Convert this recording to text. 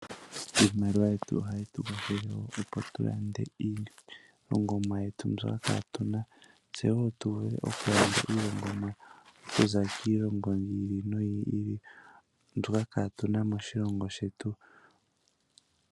Iimaliwa yetu ohayi tu kwathele opo tu lande iilongomwa yetu mbyoka kaatu na, tse woo tu vule oku landa iilongomwa okuza kiilongo yi ili noyi ili, mbyoka kaatu na moshilongo shetu.